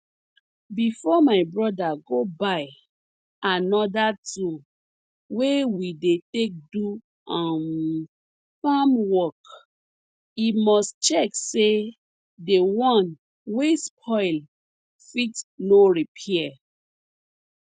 before my broda go buy anoda tool wey we dey take do um farm work e must check say the one wey spoil fit no repair